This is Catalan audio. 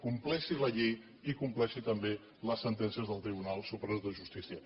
compleixi la llei i compleixi també les sentències del tribunal superior de justícia